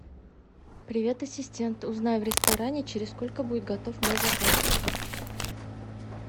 привет ассистент узнай в ресторане через сколько будет готов мой заказ